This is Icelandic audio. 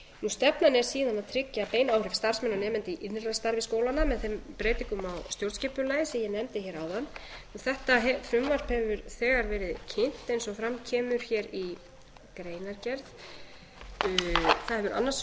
stefnan er síðan að tryggja bein áhrif starfsmanna og nemenda í innra starfi skólanna með þeim breytingum á stjórnskipulagi sem ég nefndi hér áðan þetta frumvarp hefur þegar verið kynnt eins og fram kemur hér í greinargerð það hefur annars